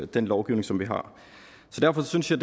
den lovgivning som vi har derfor synes jeg